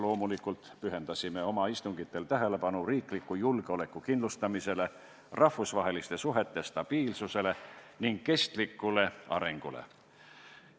Loomulikult pühendasime oma istungitel tähelepanu riigi julgeoleku kindlustamisele, rahvusvaheliste suhete stabiilsusele ning kestlikule arengule.